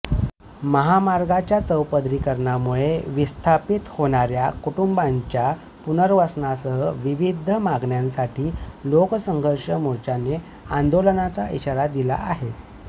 महामार्गाच्या चौपदरीकरणामुळे विस्थापित होणार्या कुटुंबांच्या पुनर्वसनासह विविध मागण्यांसाठी लोकसंघर्ष मोर्चाने आंदोलनचा इशारा दिला आहे